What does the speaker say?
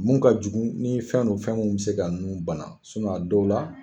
Mun ka jugu ni fɛn don fɛn min bɛ se ka nun bana a dɔw la